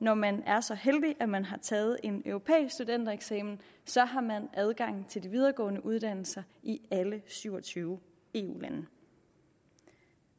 når man er så heldig at man har taget en europæisk studentereksamen så har man adgang til de videregående uddannelser i alle syv og tyve eu lande